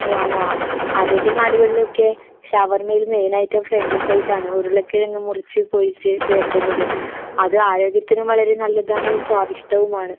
ഓ ആണോ? അറേബ്യൻ നാടുകളിലൊക്കെ ഷവർമ്മയില് മെയിൻ ഐറ്റം ഫ്രഞ്ച് ഫ്രൈസാണ്. ഉരുളക്കിഴങ്ങ് മുറിച്ച് പൊരിച്ച് ചേർക്കുന്നത്. അത് ആരോഗ്യത്തിനും വളരെ നല്ലതാണ് സ്വാദിഷ്ടവുമാണ്.